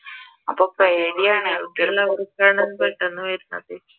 അപ്പൊ പേടിയാണ്